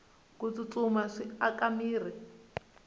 ku tsutsuma swi aka mirhi